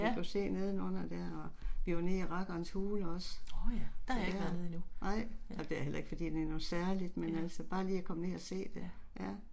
Ja. Årh ja. Der har jeg ikke været nede endnu. Nej